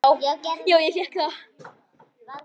Já, ég fékk það.